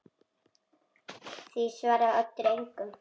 Því svaraði Oddur engu.